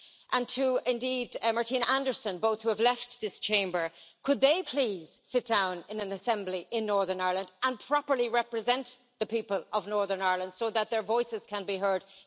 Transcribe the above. and indeed to Martina Anderson, both of whom have left this Chamber could they please sit down in an assembly in Northern Ireland and properly represent the people of Northern Ireland, so that their voices can be heard in this vital debate?